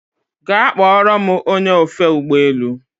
Gaa kpọrọ m ony! e ofe ụgbọ elu